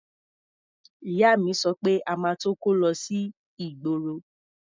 Ìyá mi sọ pé a máa tó kó lọ sí ìgboro.